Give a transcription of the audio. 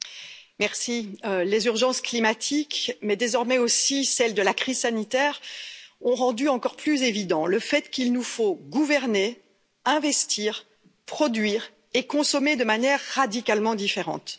Madame la Présidente, les urgences climatiques, mais désormais aussi celles de la crise sanitaire, ont rendu encore plus évident le fait qu'il nous faut gouverner, investir, produire et consommer de manière radicalement différente.